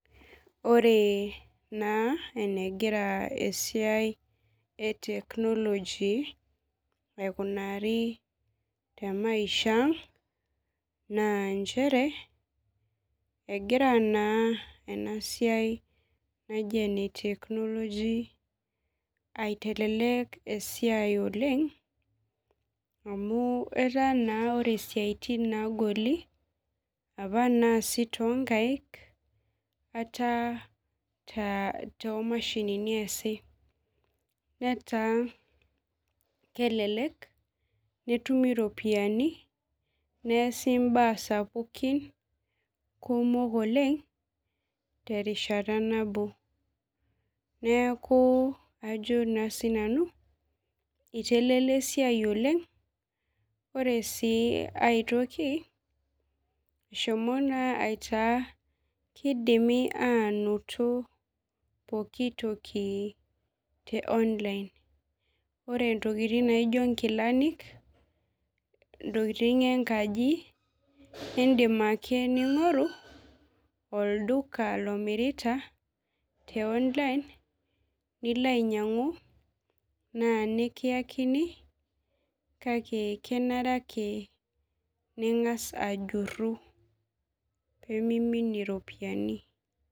Ore naa enegira maisha eteknoloji aikunari temaisha ang, naa nchere egira naa ena siai naji eneteknoloji aitelelek esiai oleng ,amu etaa naa ore siaitin naagoli apa naasi toonkaek, etaa toomashini eesi netaa kelelek, netumi ropiyiani neesi mbaa sapukin oleng terishata nabo neeku ajo naa siinanu, eitelelia esiai oleng, ore sii aitoki eshomo naa aitaa ketumi pooki toki te online. ore ntokiting naijo nkilanik ,ntokiting enkaji, nindim ake ningoru olduka lomirita teonline nilo ainyangu naa nikiyakini kake kenare ake ningas ajuru pee niminie ropiyiani.